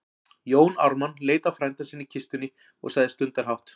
Jón Ármann leit á frænda sinn í kistunni og sagði stundarhátt